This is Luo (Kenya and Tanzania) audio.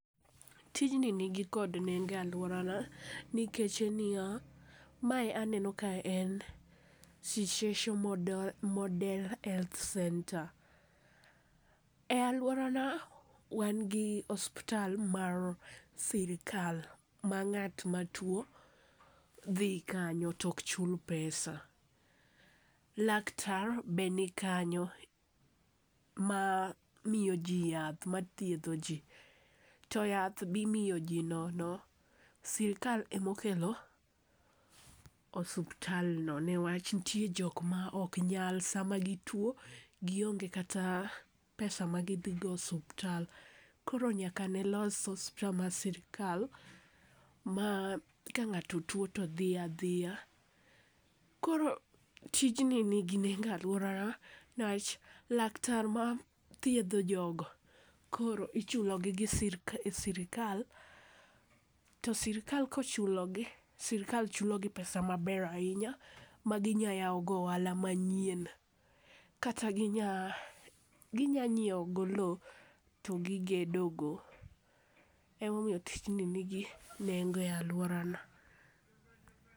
Tijni nigi kod nengo e alworana nikech en niya, mae aneno ka en Shiseso model health centre,e alworana, wan gi osuptal mar sirikal ma ng'at matuwo dhi kanyo to ok chul pesa. Laktar be nikanyo ma miyo ji yath, mathiedho ji, to yath be imiyo ji nono. Sirikal emokelo osuptalno newach nitie jok mok nyal, sama gituwo, gionge kata pesa ma gidhigo osuptal. koro nyaka ne los osuptal mar sirikal ma ka ng'ato tuwo to dhi adhiya, koro tijni nigi nengo e alworana niwach laktar ma thiedho jogo koro ichulogi gi sirikal to sirikal kochulogi, sirikal chulogi pesa maber ahinya, ma ginya yawogo ohala manyien, kata ginya nyiewogo lowo to gigedogo. Emomiyo tijni nigi nengo e alworana.